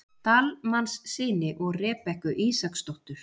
Dalmannssyni og Rebekku Ísaksdóttur.